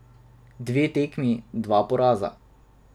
Dve tekmi, dva poraza.